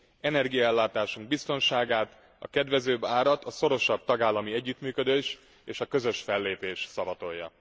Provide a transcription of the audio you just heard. Energiaellátásunk biztonságát, a kedvezőbb árat a szorosabb tagállami együttműködés és a közös fellépés szavatolja.